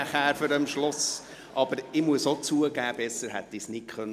– –Aber ich muss zugeben, dass ich es auch nicht besser hätte sagen können.